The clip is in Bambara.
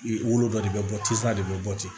I wolo dɔ de bɛ bɔ tisisaya de bɛ bɔ ten